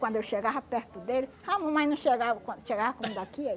Quando eu chegava perto dele... A mamãe não chegava com... Chegava como daqui, aí...